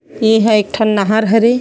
एहा एक ठन नहर ह रे--